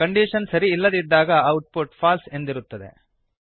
condition ಸರಿ ಇಲ್ಲದಿದ್ದಾಗ output false ಎಂದಿರುತ್ತದೆ